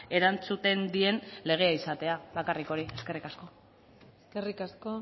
erantzuten dien legea izatea bakarrik hori eskerrik asko eskerrik asko